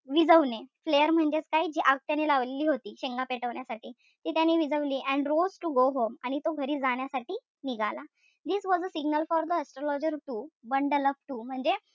विझवणे. Flare म्हणजेच काय? कि आग त्याने लावलेली होती शेंगा पेटवण्यासाठी ती त्याने विझवली. And rose to go home आणि घरी जाण्यासाठी निघाला. This was a signal for the astrologer to bundle up too म्हणजे,